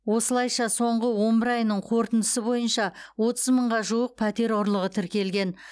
осылайша соңғы он бір айының қорытындысы бойынша отыз мыңға жуық пәтер ұрлығы тіркелген